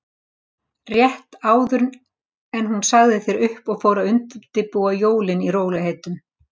Rétt áður en hún sagði þér upp og fór að undirbúa jólin í rólegheitunum.